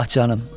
Ah canım.